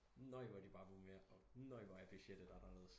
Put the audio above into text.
Nøj hvor bare de må mere og nøj hvor er budgettet anderledes